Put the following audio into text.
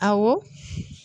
Awɔ